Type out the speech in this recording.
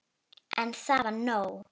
En það var nóg.